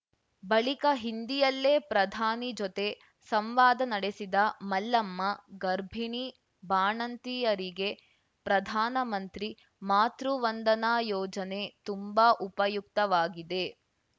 ಬಳಿಕ ಹಿಂದಿಯಲ್ಲೇ ಪ್ರಧಾನಿ ಜೊತೆ ಸಂವಾದ ನಡೆಸಿದ ಮಲ್ಲಮ್ಮ ಗರ್ಭಿಣಿ ಬಾಣಂತಿಯರಿಗೆ ಪ್ರಧಾನಮಂತ್ರಿ ಮಾತೃವಂದನಾ ಯೋಜನೆ ತುಂಬಾ ಉಪಯುಕ್ತವಾಗಿದೆ